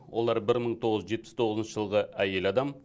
олар бір мың тоғыз жүз жетпіс тоғызыншы жылғы әйел адам